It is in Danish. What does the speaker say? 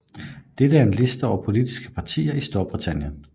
Dette er en liste over politiske partier i Storbritannien